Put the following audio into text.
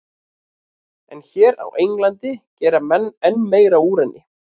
En hér á Englandi gera menn enn meira úr henni.